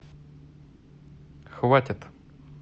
хватит